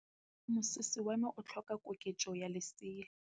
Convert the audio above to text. Moroki wa mosese wa me o tlhoka koketsô ya lesela.